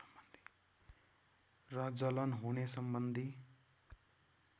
र जलन होने सम्बन्धी